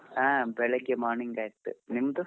ಹಾ ಬೆಳಿಗ್ಗೆ morning ಆಯ್ತು ನಿಮ್ದು?